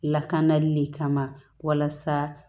Lakanali le kama walasa